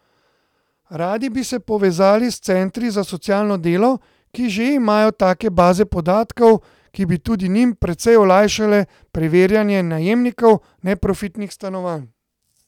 Radi bi se povezali s centri za socialno delo, ki že imajo take baze podatkov, ki bi tudi njim precej olajšale preverjanje najemnikov neprofitnih stanovanj.